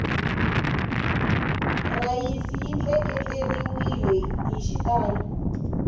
rhayisi yi tleketleriwele hi xitalo